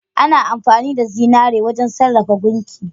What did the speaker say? Ana amfani da zinari wajen sarrafa gunki.